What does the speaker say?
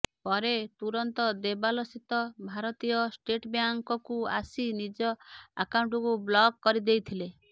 ପରେ ତୁରନ୍ତ ଦୋବଲସ୍ଥିତ ଭାରତୀୟ ଷ୍ଟେଟ ବ୍ୟାଙ୍କକୁ ଆସି ନିଜ ଆକାଉଣ୍ଟକୁ ବ୍ଲକ କରିଦେଇଥିଲେ